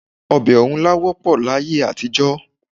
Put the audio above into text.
Ọbẹ̀ ọ̀rúnlá wọ́pọ̀ láyé àtijọ́